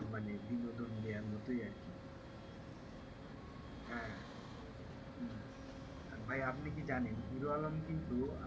মানেবিনোদন দেওয়ার মতই আরকি আহ উম ভাই আপনি কি জানেন হিরো আলম কিন্তু,